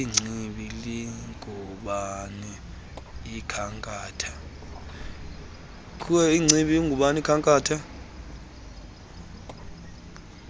ingcibi lingubani ikhankatha